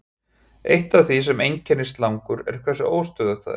Eitt af því sem einkennir slangur er hversu óstöðugt það er.